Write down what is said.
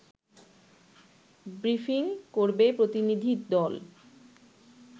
briefing করবে প্রতিনিধি দল